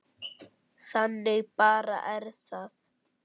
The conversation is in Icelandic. Þannig bara er það.